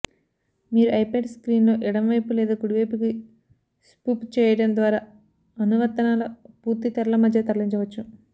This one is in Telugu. మీరు ఐప్యాడ్ స్క్రీన్లో ఎడమవైపు లేదా కుడివైపుకి స్పుప్ చేయడం ద్వారా అనువర్తనాల పూర్తి తెరల మధ్య తరలించవచ్చు